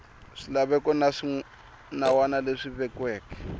swilaveko na swinawana leswi vekiweke